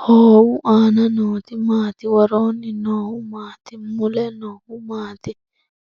Hoowu aanna nootti maatti? Woroonni noohu maatti? Mule noohu maatti?